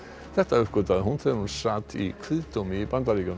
þetta uppgötvaði hún þegar hún sat í kviðdómi í Bandaríkjunum